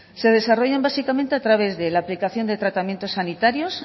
se desarrollan básicamente a través de la aplicación de tratamientos sanitarios